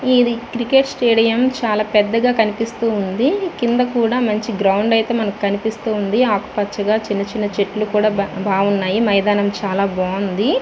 ఇది cricket stadium చాలాపెద్దగా కనిపెస్తునది. కింద కూడా గ్రౌండ్ కనిపెస్తునది. ఆకూ పచ్చగా గ్రీన్ చెట్లు ఉన్నాయ్. మైదానం చాలా బాగుంది.